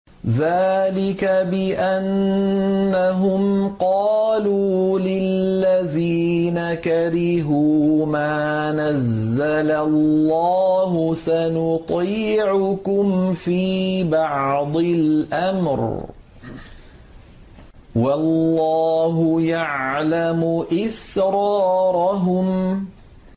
ذَٰلِكَ بِأَنَّهُمْ قَالُوا لِلَّذِينَ كَرِهُوا مَا نَزَّلَ اللَّهُ سَنُطِيعُكُمْ فِي بَعْضِ الْأَمْرِ ۖ وَاللَّهُ يَعْلَمُ إِسْرَارَهُمْ